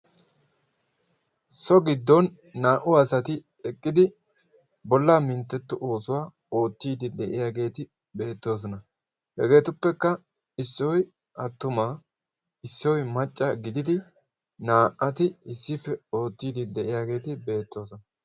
So gidon naa"u asati eqqidi bollaa mintteetto oosuwa oottiiddi de"iyageeti beettoosona. Hegeetuppekka issoyi attuma issoyi macca gididi naa"ati issippe oottiiddi de"iyageeti beettoosona.